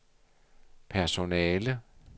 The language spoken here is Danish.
personale